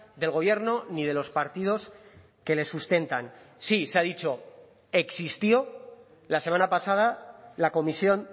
del gobierno ni de los partidos que le sustentan sí se ha dicho existió la semana pasada la comisión